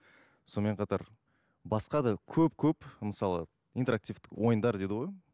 сонымен қатар басқа да көп көп мысалы интерактивтік ойындар дейді ғой